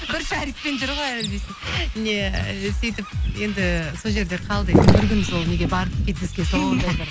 бір шарикпен жүр ғой әлі десе не сөйтіп енді сол жерде қалды енді бір күн сол неге бардық фитнеске сондай бір